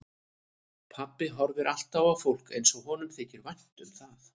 Pabbi horfir alltaf á fólk eins og honum þyki vænt um það.